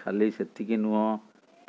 ଖାଲି ସେତିକି ନୁହଁ